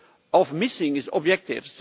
of missing its objectives.